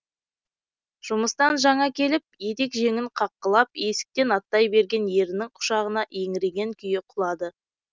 жұмыстан жаңа келіп етек жеңін қаққылап есіктен аттай берген ерінің құшағына еңіреген күйі құлады